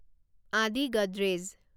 আদি গডৰেজ